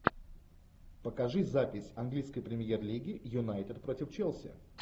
покажи запись английской премьер лиги юнайтед против челси